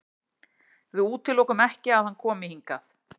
Við útilokum ekki að hann komi hingað.